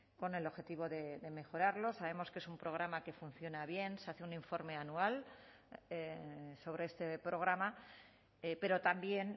con el objetivo de mejorarlo sabemos que es un programa que funciona bien se hace un informe anual sobre este programa pero también